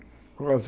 Quase